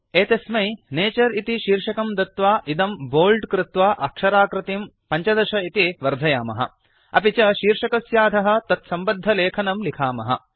एतस्मै नतुरे इति शीर्षकं दत्वा इदं बोल्ड कृत्वा अक्षराकृतिं 15 इति वर्धयामः अपि च शीर्षकस्याधः तत्सम्बद्धलेखनं लिखामः